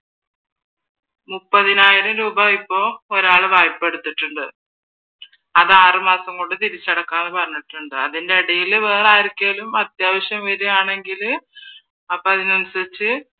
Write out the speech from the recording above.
മുപ്പതിനായിരം ഒരാളിപ്പോ വായ്‌പ്പാ എടുത്തിട്ടുണ്ട് അത് ആറുമാസം കൊണ്ട് തിരിച്ചടക്കാന്ന് പറഞ്ഞിട്ടുണ്ട് അതിനിടയിൽ വേറെ ആർക്കെങ്കിലും അത്യാവശ്യം വരുകയാണെങ്കിൽ അപ്പൊ അതിനനുസരിച്ച്